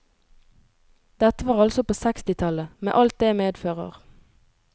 Dette var altså på sekstitallet, med alt det medfører.